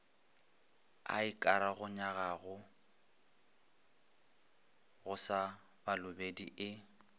ikaroganyago go sa balobedu e